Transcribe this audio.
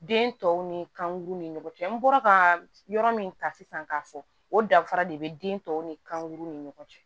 Den tɔw ni kankuru ni ɲɔgɔn cɛ n bɔra ka yɔrɔ min ta sisan k'a fɔ o danfara de bɛ den tɔw ni kankuru ni ɲɔgɔn cɛ